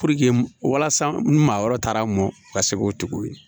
Puruke walasa maa wɛrɛ taara mɔn ka se k'o tigiw ye